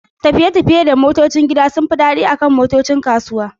tafiye-tafiye da motocin gida sun fi daɗi akan motocin kasuwa.